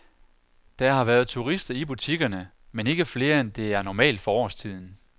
Der har været turister i butikkerne, men ikke flere end det er normalt for årstiden.